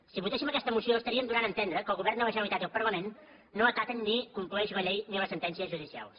si votéssim aquesta moció estaríem donant a entendre que el govern de la generalitat i el parlament no acaten ni compleixen la llei ni les sentències judicials